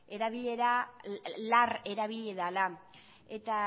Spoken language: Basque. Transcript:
erabilera lar erabili dela eta